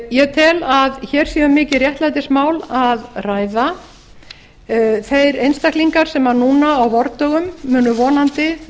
ég tel að hér sé um mikið réttlætismál að ræða þeir einstaklingar sem núna á vordögum munu vonandi